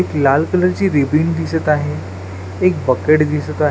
एक लाल कलरची रिबीन दिसत आहे एक बकेट दिसत आहे.